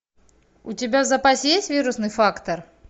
у тебя в запасе есть вирусный фактор